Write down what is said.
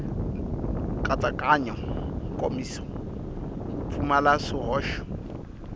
nkatsakanyo nkomiso wu pfumala swihoxo